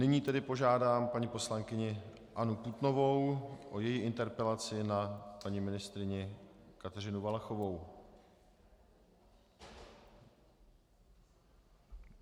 Nyní tedy požádám paní poslankyni Annu Putnovou o její interpelaci na paní ministryni Kateřinu Valachovou.